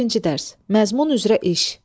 Birinci dərs: Məzmun üzrə iş.